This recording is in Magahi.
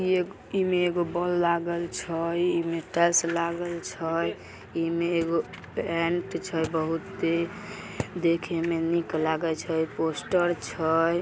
इ इमे एक बल्ब लागल छ इमे टाइल्स लागल छ एमे क पेंट छे बहुत ही देखे में निक लागे छे पोस्टर छे।